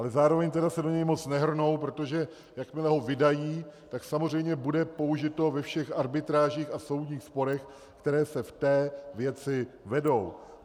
Ale zároveň tedy se do něj moc nehrnou, protože jakmile ho vydají, tak samozřejmě bude použito ve všech arbitrážích a soudních sporech, které se v té věci vedou.